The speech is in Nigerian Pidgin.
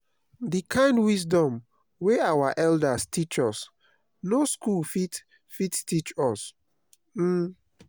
the kind wisdom wey our elders teach us no school fit fit teach us. um